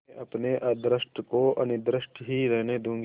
मैं अपने अदृष्ट को अनिर्दिष्ट ही रहने दूँगी